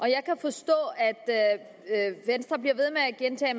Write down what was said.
jeg kan forstå at venstre bliver ved med at gentage